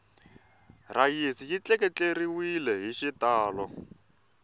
rhayisi yi tleketleriwele hi xitalo